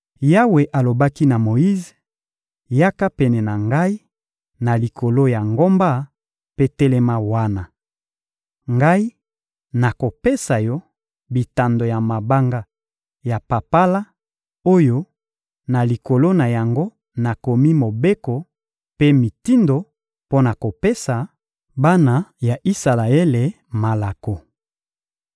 Yawe alobaki na Moyize: «Yaka pene na Ngai na likolo ya ngomba mpe telema wana. Ngai nakopesa yo bitando ya mabanga ya papala oyo na likolo na yango nakomi Mobeko mpe mitindo mpo na kopesa bana ya Isalaele malako.»